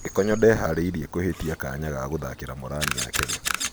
Gĩkonyo ndeharĩirie kũhĩtia kanya ga gũthakĩra Morani ya Kenya.